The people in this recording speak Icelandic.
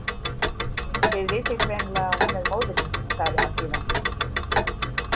Þið vitið greinilega að hún er móðir mín, sagði hann síðan.